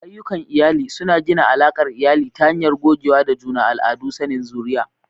Ayyukan iyali suna gina alakar iyali ta hanyar gogewa da juna, al'adu, da sanin zuriya.